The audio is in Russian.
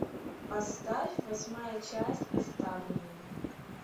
поставь восьмая часть оставленные